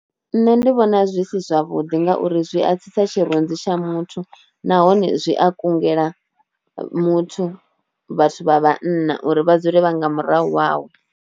Nṋe ndi vhona zwi si zwavhuḓi ngauri zwi a tsitsa tshirunzi tsha muthu nahone zwi a kungela muthu vhathu vha vhanna uri vha dzule vha nga murahu hawe.